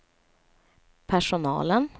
personalen